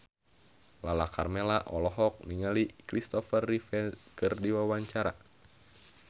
Lala Karmela olohok ningali Christopher Reeve keur diwawancara